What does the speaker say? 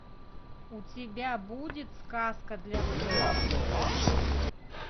у тебя будет сказка для взрослых